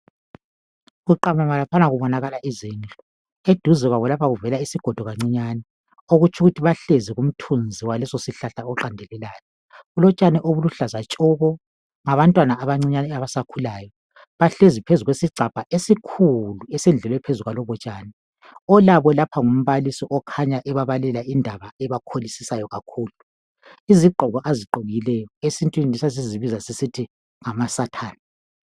Kuqamama laphana kubonakala izindlu eduze kuvela isigodo kancinyane okutsho ukuthi bahlezi kumthunzi walesosihlahla oqandelelayo. Kulotshani obuluhlaza tshoko. Ngabantwana abancinyane abasakhulayo, bahlezi phezu kwesigcabha esikhulu esendlalwe phezu kwalobotshani, olabo lapha ngumbalisi okhanya ebabalela indaba ebakholisisayo kakhulu. Izgqoko azigqokile esintwini sasizibiza sisthi ngamasathani